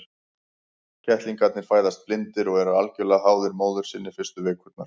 Kettlingarnir fæðast blindir og eru algjörlega háðir móður sinni fyrstu vikurnar.